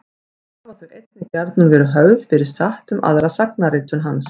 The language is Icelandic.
Hafa þau einnig gjarnan verið höfð fyrir satt um aðra sagnaritun hans.